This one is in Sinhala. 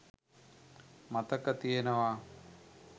මතක තියෙනවා.